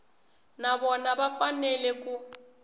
na vona va fanele ku